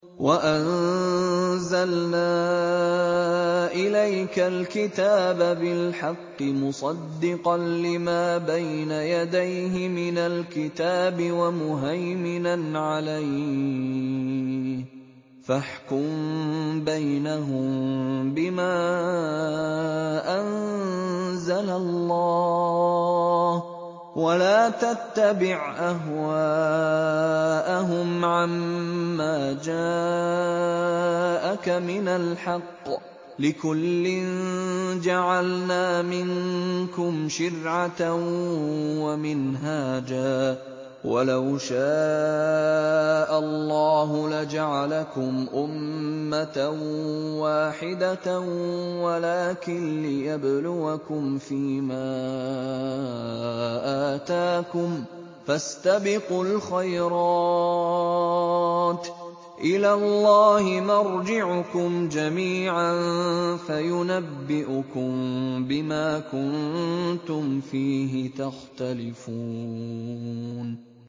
وَأَنزَلْنَا إِلَيْكَ الْكِتَابَ بِالْحَقِّ مُصَدِّقًا لِّمَا بَيْنَ يَدَيْهِ مِنَ الْكِتَابِ وَمُهَيْمِنًا عَلَيْهِ ۖ فَاحْكُم بَيْنَهُم بِمَا أَنزَلَ اللَّهُ ۖ وَلَا تَتَّبِعْ أَهْوَاءَهُمْ عَمَّا جَاءَكَ مِنَ الْحَقِّ ۚ لِكُلٍّ جَعَلْنَا مِنكُمْ شِرْعَةً وَمِنْهَاجًا ۚ وَلَوْ شَاءَ اللَّهُ لَجَعَلَكُمْ أُمَّةً وَاحِدَةً وَلَٰكِن لِّيَبْلُوَكُمْ فِي مَا آتَاكُمْ ۖ فَاسْتَبِقُوا الْخَيْرَاتِ ۚ إِلَى اللَّهِ مَرْجِعُكُمْ جَمِيعًا فَيُنَبِّئُكُم بِمَا كُنتُمْ فِيهِ تَخْتَلِفُونَ